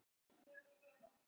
Og fékk nei fyrir svar?